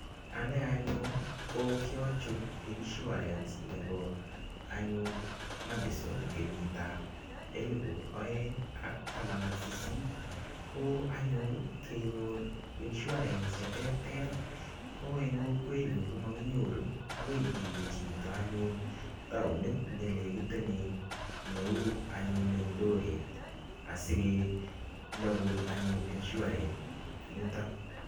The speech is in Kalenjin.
Ane anyun ko kiachut insurance nebo anyun Madison kenyitab elibu oeng' ak taman ak sisit ko anyun kenyor insurance cheterter ko eng' kokwenyu komakinyoru akoi iwe chito anyun taonit nekelekitenen neu anyun eldoret asikechopun anyun insurance [cs[ eng' yuto